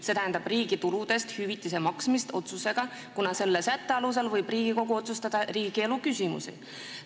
Ta ei või teha riigi tuludest hüvitise maksmise otsust, kuna selle sätte kohaselt võib Riigikogu otsustada muid riigielu küsimusi.